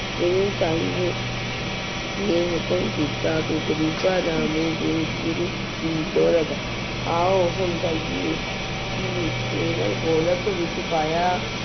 ਗੁਰੂ ਸਾਹਿਬ ਨੇ ਹੁਕਮ ਕੀਤਾ ਕਿ ਗ਼ਰੀਬਾਂ ਦਾ ਮੂੰਹ ਗੁਰ ਗੁਰੂ ਜੀ ਗੋਲਕ ਆਓ ਕਿ ਕੇਵਲ ਗੋਲਕ ਵਿੱਚ ਪਾਇਆ